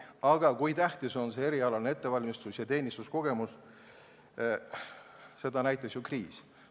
Aga seda, kui tähtis on erialane ettevalmistus ja teenistuskogemus, näitas ju kriis.